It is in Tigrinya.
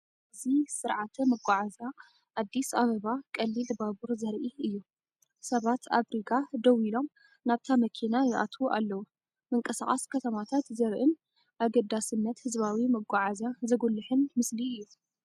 እዚ ስርዓተ መጓዓዝያ ኣዲስ ኣበባ ቀሊል ባቡር ዘርኢ እዩ፤ ሰባት ኣብ ሪጋ ደው ኢሎም ናብታ መኪና ይኣትዉ ኣለዉ። ምንቅስቓስ ከተማታት ዘርኢን ኣገዳስነት ህዝባዊ መጓዓዝያ ዘጉልሕን ምስሊ እዩ።